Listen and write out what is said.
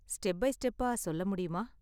Step by ஸ்டெப்பா சொல்ல முடியுமா?